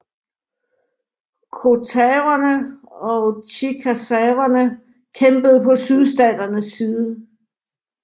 Choctawerne og chickasawerne kæmpede på sydstaternes side